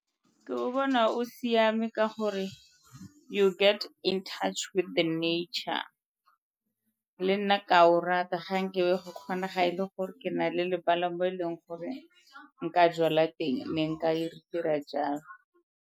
Ke o bona o siame ka gore you get in touch with the nature, le nna ke a o rata ga nke be go kgonega e le gore ke na le lebala mo e leng gore nka jwala teng ne nka e dira jalo.